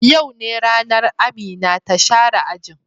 Yau ne ranan Amina ta share ajin.